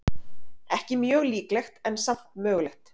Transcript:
Ekki mjög líklegt, en samt mögulegt.